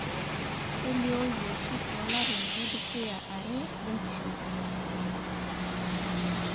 kelioyu oshi tolarin ledukya are lenkishui.